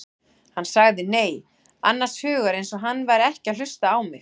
Hann sagði nei, annars hugar eins og hann væri ekki að hlusta á mig.